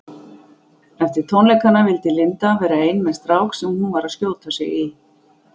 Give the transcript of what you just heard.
Eftir tónleikana vildi Linda vera ein með strák sem hún var að skjóta sig í.